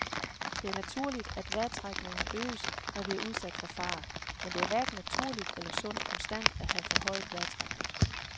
Det er naturligt, at vejrtrækningen øges, når vi er udsat for fare, men det er hverken naturligt eller sundt konstant at have forhøjet vejrtrækning.